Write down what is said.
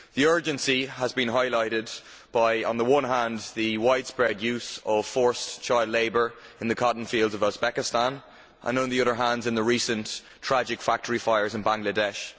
The urgency has been highlighted, on the one hand, by the widespread use of forced child labour in the cotton fields of Uzbekistan and, on the other hand, in the recent tragic factory fires in Bangladesh.